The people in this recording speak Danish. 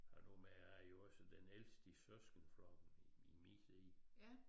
Og nu mig jeg jo også den ældste i søskendeflokken i min side